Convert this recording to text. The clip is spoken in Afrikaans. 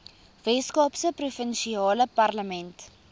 weskaapse provinsiale parlement